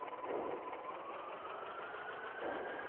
ઉહ